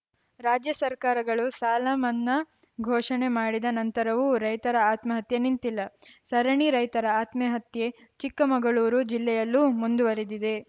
ರಾಜ್ಯ ಸರ್ಕಾರಗಳು ಸಾಲ ಮನ್ನಾ ಘೋಷಣೆ ಮಾಡಿದ ನಂತರವೂ ರೈತರ ಆತ್ಮಹತ್ಯೆ ನಿಂತಿಲ್ಲ ಸರಣಿ ರೈತರ ಆತ್ಮಹತ್ಯೆ ಚಿಕ್ಕಮಗಳೂರು ಜಿಲ್ಲೆಯಲ್ಲೂ ಮುಂದುವರಿದಿದೆ